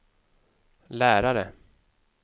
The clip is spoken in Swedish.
lärare